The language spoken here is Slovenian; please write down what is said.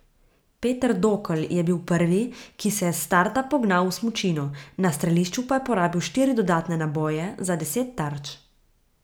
Peter Dokl je bil prvi, ki se je s starta pognal v smučino, na strelišču pa porabil štiri dodatne naboje za deset tarč.